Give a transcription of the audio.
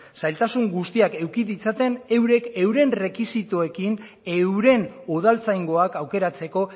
zailtasun guztiak eduki ditzaten eurek euren errekisitoekin euren udaltzaingoak aukeratzeko